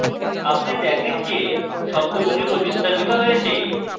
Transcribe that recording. আপনি দেখেন যে শব্দগুলি প্রতিস্থাপিত হয়েছে